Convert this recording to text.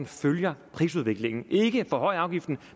følger prisudviklingen vi skal ikke forhøje afgiften